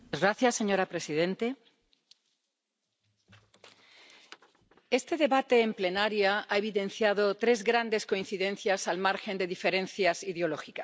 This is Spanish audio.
Señora presidente, este debate en sesión plenaria ha evidenciado tres grandes coincidencias al margen de diferencias ideológicas.